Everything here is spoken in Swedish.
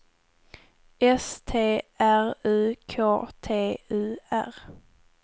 S T R U K T U R